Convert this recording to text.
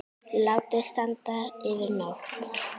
Látið standa yfir nótt.